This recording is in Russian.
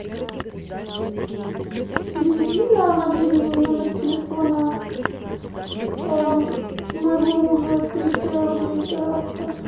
переведи на мобильный номер телефона моего мужа триста рублей пожалуйста